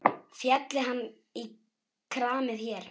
Félli hann í kramið hér?